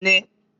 N